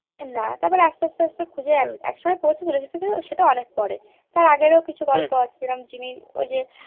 না তারপরে আস্তে আস্তে খুঁজে এক সময় পড়েছিল বা সেটাও অনেক পর এ টের আগের কিছু গল্প আছেই যিনি ঐযে